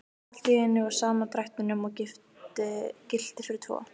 Allt í einum og sama drættinum og gilti fyrir tvo!